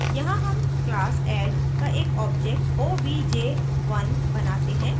यहाँ हम class add का एक object obj1 बनाते हैं